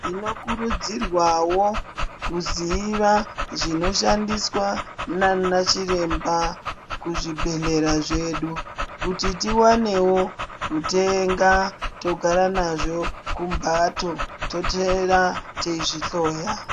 Tinokurudzirwawo kuziva zvinoshandiswa nana chiremba kuzvibhehlera zvedu kuti tiwanewo kutenga togara nazvo kumbatso totora teizvihloya.